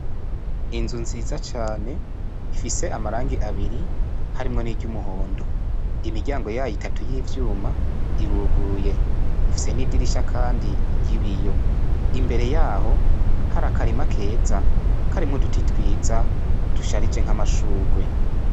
Inzu nziza cane ifise amarangi abiri harimwo niryumuhondo imiryango yayo itatu yivyuma iruguruye ifise n'idirisha kandi ryibiyo imbere yaho hari akarima keza turimwo uduti twiza dusharije nkamashurwe.